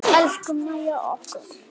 Elsku Mæja okkar.